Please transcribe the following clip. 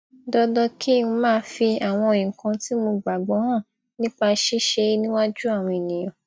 dandan kí n máa fi àwọn nǹkan tí mo gbàgbó hàn nípa ṣíṣe é níwájú àwọn ènìyàn